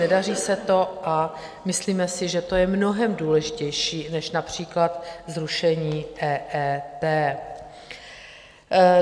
Nedaří se to a myslíme si, že to je mnohem důležitější než například zrušení EET.